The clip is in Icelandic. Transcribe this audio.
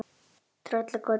Tröllakoti